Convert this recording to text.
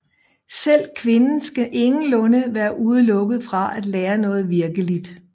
Selv kvinden skal ingenlunde være udelukket fra at lære noget virkeligt